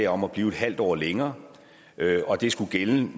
om at blive en halv år længere det skulle gælde